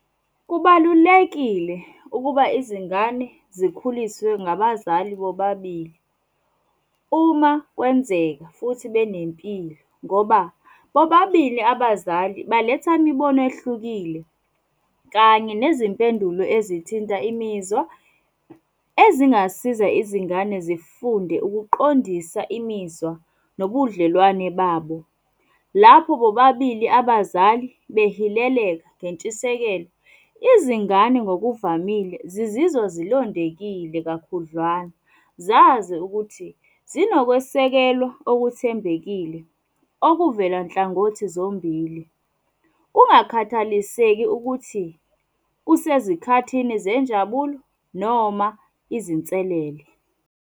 Kubalulekile ukuba izingane zikhuliswe ngabazali bobabili, uma kwenzeka futhi benempilo. Ngoba bobabili abazali baletha imibono ehlukile, kanye nezimpendulo ezithinta imizwa, ezingasiza izingane zifunde ukuqondisa imizwa nobudlelwane babo. Lapho bobabili abazali behileleka ngentshisekelo, izingane ngokuvamile zizizwa zilondekile kakhudlwana. Zazi ukuthi zinokwesekelwa okuthembekile, okuvela nhlangothi zombili. Kungakhathaliseki ukuthi, kusezikhathini zenjabulo, noma izinselele.